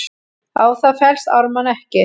Á það fellst Ármann ekki.